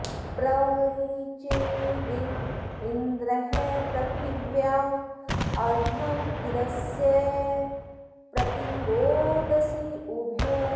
प्र रि॑रिचे दि॒व इन्द्रः॑ पृथि॒व्या अ॒र्धमिद॑स्य॒ प्रति॒ रोद॑सी उ॒भे